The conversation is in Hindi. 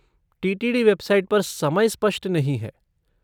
टी.टी.डी. वेबसाइट पर समय स्पष्ट नहीं है।